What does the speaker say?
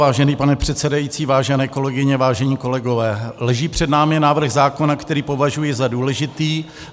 Vážený pane předsedající, vážené kolegyně, vážení kolegové, leží před námi návrh zákona, který považuji za důležitý.